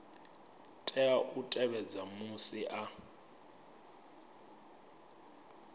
tea u tevhedza musi a